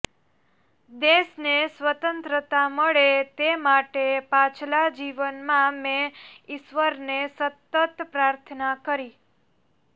દેશને સ્વતંત્રતા મળે તે માટે પાછલા જીવનમાં મેં ઇશ્વરને સતત પ્રાર્થના કરી